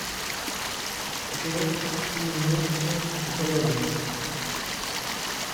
джой имэджин дрэгонс